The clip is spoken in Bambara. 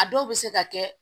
A dɔw bɛ se ka kɛ